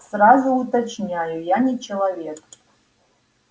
сразу уточняю я не человек